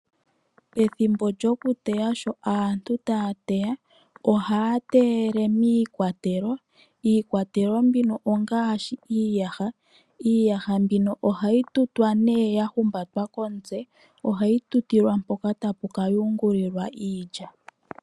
Pethimbo lyokuteya sho aantu taya teya ohaya teyele miikwatelo, iikwatelo mbino ongaashi iiyaha, iihaya mbino ohayi tutwa nee yatulwa komutse. Ohayi tutilwa mpoka tapu ka yungulilwa iilya.